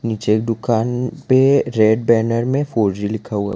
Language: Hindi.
पीछे एक दुकान पे रेड बैनर में फोर जी लिखा हुआ--